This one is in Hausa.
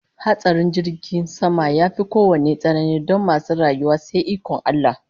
Hatsarin jirgin sama yafi kowanne tsanani don masu rayuwa sai ikon Allah